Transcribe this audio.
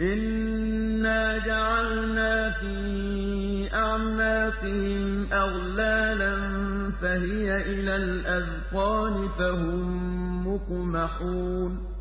إِنَّا جَعَلْنَا فِي أَعْنَاقِهِمْ أَغْلَالًا فَهِيَ إِلَى الْأَذْقَانِ فَهُم مُّقْمَحُونَ